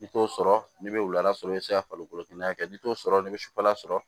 I t'o sɔrɔ n'i bɛ wula sɔrɔ i bɛ se ka falikolo hakɛ kɛ n'i t'o sɔrɔ n'i bɛ sufɛla sɔrɔ